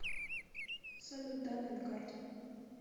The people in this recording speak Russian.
салют данные на карте